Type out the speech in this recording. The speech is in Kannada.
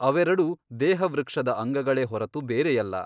ಅವೆರಡೂ ದೇಹವೃಕ್ಷದ ಅಂಗಗಳೇ ಹೊರತು ಬೇರೆಯಲ್ಲ.